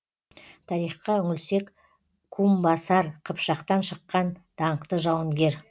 тарихқа үңілсек кумбасар қыпшақтан шыққан даңқты жауынгер